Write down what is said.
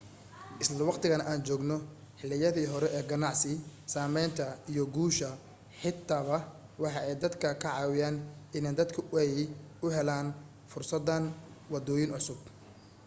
isla waqtigan aan joogno xiliyadii hore ee ganacsi sameynta iyo guusha xitaba waxa ay dadka ka caawiyen in dadku ay u helaan fursadan wadooyin cusub